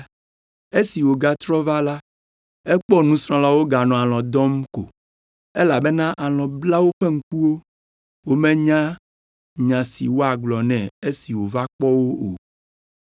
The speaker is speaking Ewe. Esi wògatrɔ va la, ekpɔ nusrɔ̃lawo woganɔ alɔ̃ dɔm ko, elabena alɔ̃ bla woƒe ŋkuwo. Womenya nya si woagblɔ nɛ esi wòva kpɔ wo o.